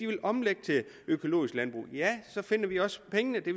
vil omlægge til økologisk landbrug ja så finder vi også pengene det